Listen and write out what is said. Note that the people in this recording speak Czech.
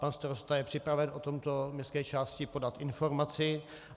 Pan starosta je připraven o tomto městské části podat informaci.